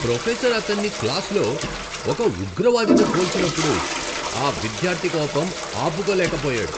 Professor అతన్ని క్లాస్లో ఒక ఉగ్రవాదితో పోల్చినప్పుడు ఆ విద్యార్థి కోపం ఆపుకోలేక పోయాడు.